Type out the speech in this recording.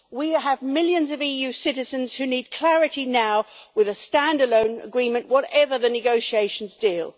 We have millions of EU citizens who need clarity now with a stand alone agreement, whatever the negotiations deal.